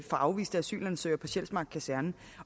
afviste asylansøgere på sjælsmark kaserne